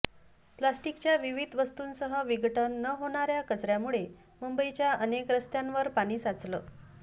प्लास्टिकच्या विविध वस्तूंसह विघटन न होणाऱ्या कचऱ्यामुळे मुंबईच्या अनेक रस्त्यांवर पाणी साचलं